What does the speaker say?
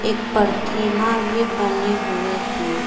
एक प्रथीमा भी बने हुए हैं।